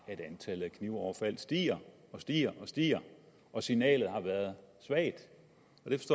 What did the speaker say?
at antallet af knivoverfald stiger og stiger stiger og signalet har været svagt